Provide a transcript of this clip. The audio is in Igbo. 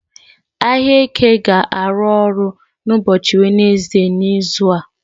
Ahịa Eke ga-arụ ọrụ n'ụbọchị Wenezde n'izu a.